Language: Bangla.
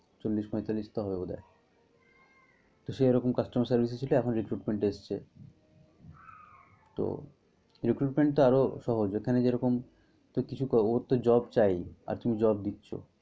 চল্লিশ পয়তাল্লিশ তো হবে বোধ হয়। তো সে এরকম customer service এ ছিল এখন recruitment এ এসেছে। তো recruitment তো আরো সহজ এখানে যেরকম কিছু শিখা ওর তো job চাই। আর তুমি job দিচ্ছ।